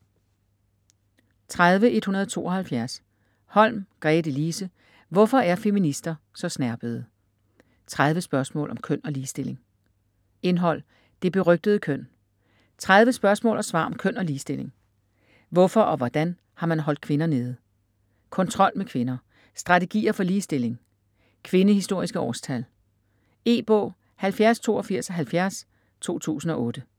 30.172 Holm, Gretelise: Hvorfor er feminister så snerpede?: 30 spørgsmål om køn og ligestilling Indhold: Det berygtede køn; 30 spørgsmål og svar om køn og ligestilling; Hvorfor og hvordan har man holdt kvinder nede?; Kontrol med kvinder; Strategier for ligestilling; Kvindehistoriske årstal. E-bog 708270 2008.